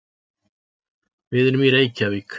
Við erum í Reykjavík.